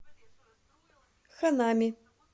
ханами